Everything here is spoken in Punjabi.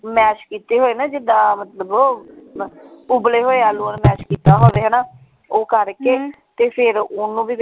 Mash ਕੀਤੇ ਹੋਏ ਨਾ ਜਿਦਾਂ ਮਤਲਬ ਉਬਲੇ ਹੋਏ ਆਲੂਆਂ ਨੂੰ mash ਕੀਤਾ ਹੋਵੇ ਹਣਾ ਉਹ ਕਰਕੇ ਤੇ ਫੇਰ ਓਹਨੂੰ ਭੀ ਵਿੱਚ।